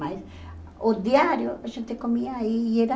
Mas o diário a gente comia aí e era...